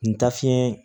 N ta fiɲɛ